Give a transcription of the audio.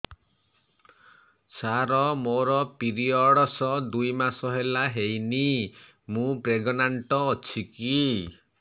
ସାର ମୋର ପିରୀଅଡ଼ସ ଦୁଇ ମାସ ହେଲା ହେଇନି ମୁ ପ୍ରେଗନାଂଟ ଅଛି କି